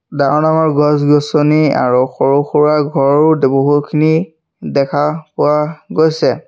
ডাঙৰ-ডাঙৰ গছ-গছনি আৰু সৰু-সুৰা ঘৰো বহুখিনি দেখা পোৱা গৈছে।